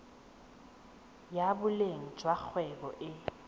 ya boleng jwa kgwebo e